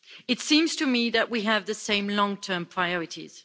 It seems to me that we have the same long term priorities.